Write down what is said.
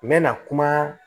N bɛna kuma